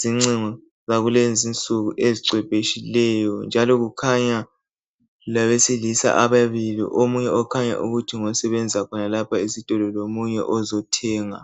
zincingo zakulezinsuku ezicwebeshileyo njalo kukhanya labesilisa ababili omunye okhanya ukuthi ngosebenza khonalapho esitolo lomunye ozothenga.